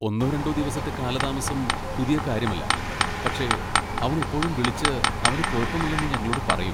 ഒന്നോ രണ്ടോ ദിവസത്തെ കാലതാമസം പുതിയ കാര്യമല്ല, പക്ഷേ അവൻ എപ്പോഴും വിളിച്ച് അവന് കുഴപ്പമില്ലെന്ന് ഞങ്ങളോട് പറയും.